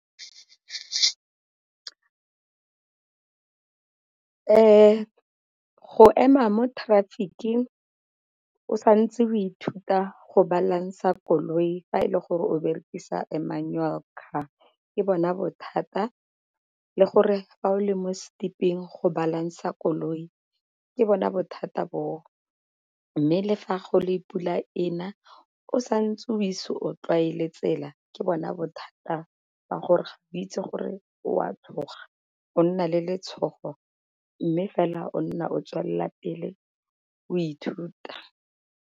Go ema mo traffick-ing o santse o ithuta go balance-sa koloi fa e le gore o berekisa a manual car ke bona bothata, le gore fa o le mo steep-ing go balance-sa koloi ke bona bothata bo o. Mme le fa go le pula ena o sa ntse o ise o tlwaele tsela ke bona bothata jwa gore itse gore o a tshoga o nna le letshogo mme fela o nna o tswalela pele o ithuta.